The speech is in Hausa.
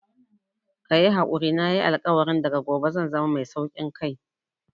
Kayi hakuri nayi alkawarin daga gobe zan zama mai saukin kai